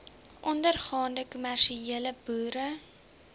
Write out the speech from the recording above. ondergaande kommersiële boere